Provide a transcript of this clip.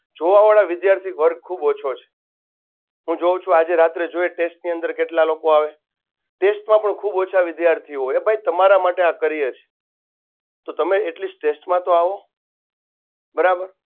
જોવાવાળા વિધાર્થીઓ વર્ગ ખૂબ ઓછો છે. હું જોવું છું આજે રાત્રે test ની અંદર કેટલા લોકો આવે test માં પણ ખૂબ ઓછા વિધાર્થીઓ હોય અરે ભાઈ આ તમારા માટે આ કરીએ છીએ તો તમે atleast test માં તો આવો બરાબર